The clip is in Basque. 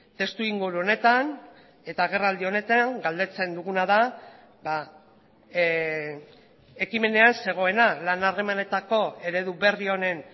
testuinguru honetan eta agerraldi honetan galdetzen duguna da ekimenean zegoena lan harremanetako eredu berri honen